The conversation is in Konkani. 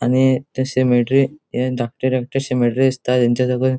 आणि ते सिमेट्री ये धाकटे धाकटे सिमेट्री दिसता तेंच्या सकयल --